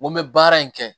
N ko n bɛ baara in kɛ